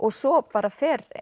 svo bara fer